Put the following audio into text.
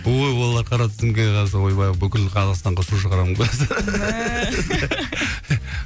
ой олар қара тізімге қойса ойбай бүкіл қазақстанға шу шығарамын гой